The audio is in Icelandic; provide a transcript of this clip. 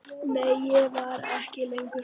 Nei, ég var ekki lengur hrædd.